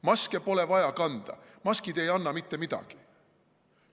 Maske pole vaja kanda, maskid ei anna mitte midagi.